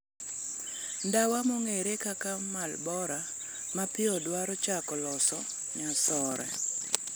Ndawa mong'ere kaka Marlboro ma piyo dwaro chako loso nyasore .